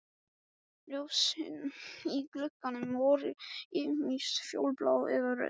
Ljósin í gluggunum voru ýmist fjólublá eða rauð.